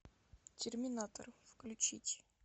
терминатор включить